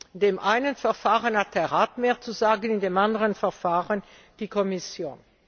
In dem einen Verfahren hat der Rat mehr zu sagen, in dem anderen Verfahren die Kommission.